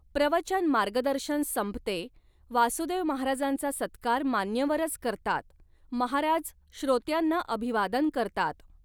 प्रवचन मार्गदर्शन संपते वासुदेव महाराजांचा सत्कार मान्यवरच करतात, महाराज श्रोत्यांना अभिवादन करतात.